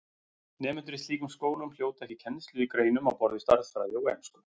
Nemendur í slíkum skólum hljóta ekki kennslu í greinum á borð við stærðfræði og ensku.